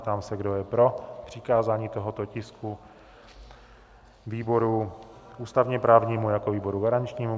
Ptám se, kdo je pro přikázání tohoto tisku výboru ústavně-právnímu jako výboru garančnímu?